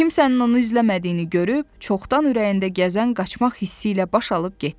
Kimsənin onu izləmədiyini görüb, çoxdan ürəyində gəzən qaçmaq hissi ilə baş alıb getdi.